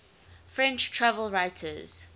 french travel writers